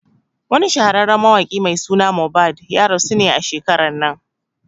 Wani shahararren mawaƙi mai suna Mohbad ya rasu a shekaran nan